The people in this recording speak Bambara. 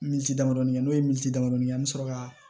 Minisi damadɔni kɛ n'o ye milimaniw ye an bɛ sɔrɔ ka